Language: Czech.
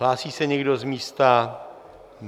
Hlásí se někdo z místa?